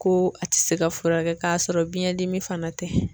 Ko a ti se ka furakɛ k'a sɔrɔ biɲɛ dimi fana tɛ